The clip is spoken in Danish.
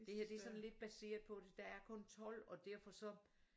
Det her det er sådan lidt baseret på det der er kun 12 og derfor så